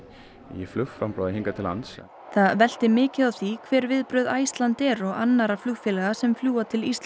í hingað til lands það velti mikið á því hver viðbrögð Icelandair og annarra flugfélaga sem fljúga til